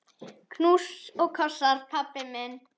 Knús og kossar, pabbi minn.